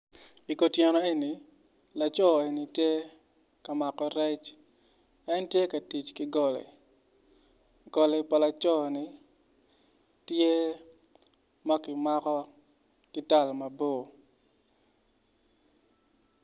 I kutyeno eni laco eni tye kamako rec, en tye ka tic ki goli, goli pa laco ni tye ma kimaki ki tal mabo